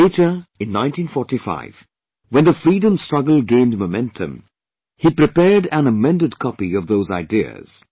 Later, in 1945, when the Freedom Struggle gained momentum, he prepared an amended copy of those ideas